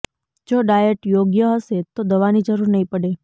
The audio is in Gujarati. જો ડાયટ યોગ્ય હશે તો દવાની જરૂર નહીં પડે